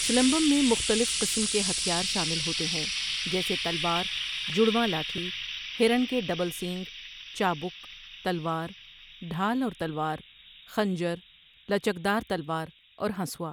سلمبم میں مختلف قسم کے ہتھیار شامل ہوتے ہیں جیسے تلوار، جڑواں لاٹھی، ہرن کے ڈبل سینگ، چابک، تلوار، ڈھال اور تلوار، خنجر، لچکدار تلوار اور ہنسوا۔